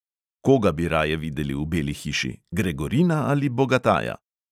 Koga bi raje videli v beli hiši – gregorina ali bogataja?